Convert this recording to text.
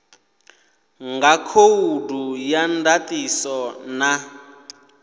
nga khoudu ya ndatiso na